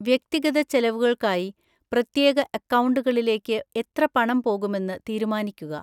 വ്യക്തിഗത ചെലവുകൾക്കായി പ്രത്യേക അക്കൗണ്ടുകളിലേക്ക് എത്ര പണം പോകുമെന്ന് തീരുമാനിക്കുക.